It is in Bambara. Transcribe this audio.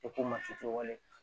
tɛ wale